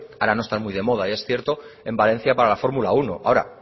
ahora no están muy de moda es cierto en valencia para la fórmula uno ahora